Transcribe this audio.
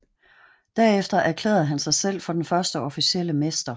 Derefter erklærede han sig selv for den første officielle mester